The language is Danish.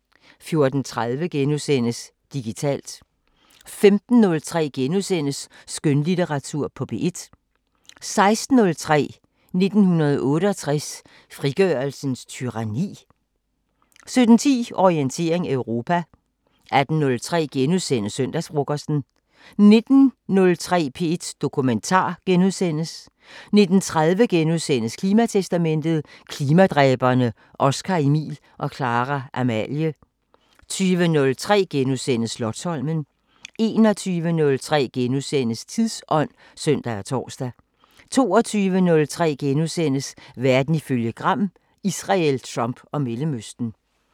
14:30: Digitalt * 15:03: Skønlitteratur på P1 * 16:03: 1968: Frigørelsens tyranni? 17:10: Orientering Europa 18:03: Søndagsfrokosten * 19:03: P1 Dokumentar * 19:30: Klimatestamentet: Klimadræberne Oscar-Emil og Clara-Amalie * 20:03: Slotsholmen * 21:03: Tidsånd *(søn og tor) 22:03: Verden ifølge Gram: Israel, Trump og Mellemøsten *